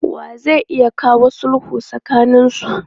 Wa zai iya kawo sulhu tsakaninsu?